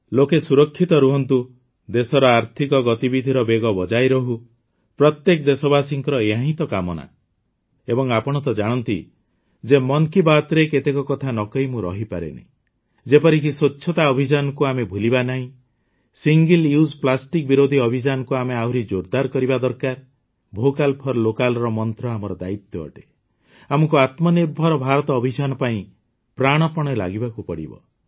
ଲୋକେ ସୁରକ୍ଷିତ ରହନ୍ତୁ ଦେଶର ଆର୍ଥିକ ଗତିବିଧିର ବେଗ ବଜାୟ ରହୁ ପ୍ରତ୍ୟେକ ଦେଶବାସୀଙ୍କର ଏହାହିଁ କାମନା ଏବଂ ଆପଣ ତ ଜାଣନ୍ତି ଯେ ମନ୍ କୀ ବାତ୍ରେ କେତେକ କଥା ନ କହି ମୁଁ ରହିପାରେନି ଯେପରିକି ସ୍ୱଚ୍ଛତା ଅଭିଯାନକୁ ଆମେ ଭୁଲିବା ନାହିଁ ସିଙ୍ଗିଲ୍ ୟୁଜ୍ ପ୍ଲାଷ୍ଟିକ୍ ବିରୋଧୀ ଅଭିଯାନକୁ ଆମେ ଆହୁରି ଜୋରଦାର କରିବା ଦରକାର ଭୋକାଲ୍ ଫର୍ ଲୋକାଲ୍ ମନ୍ତ୍ର ଆମର ଦାୟିତ୍ୱ ଅଟେ ଆମକୁ ଆତ୍ମନିର୍ଭର ଭାରତ ଅଭିଯାନ ପାଇଁ ପ୍ରାଣପଣେ ଲାଗିବାକୁ ପଡ଼ିବ